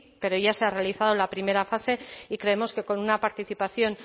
pero ya se ha realizado la primera fase y creemos que con una participación